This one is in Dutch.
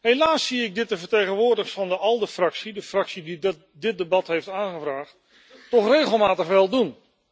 Helaas zie ik dat de vertegenwoordigers van de ALDE fractie, de fractie die dit debat heeft aangevraagd, dat regelmatig wel doen.